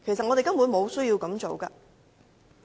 我們根本沒有需要這樣做。